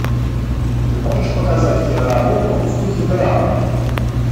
ты можешь показать киноработу в духе драмы